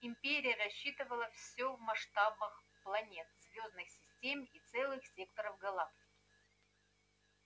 империя рассчитывала всё в масштабах планет звёздных систем и целых секторов галактики